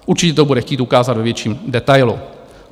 Určitě to bude chtít ukázat ve větším detailu.